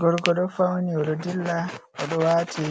Gorko ɗo fauni o ɗo dilla, o ɗo wati